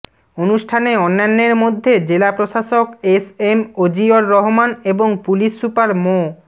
অনুষ্ঠানে অন্যানের মধ্যে জেলা প্রশাসক এসএম অজিয়র রহমান এবং পুলিশ সুপার মো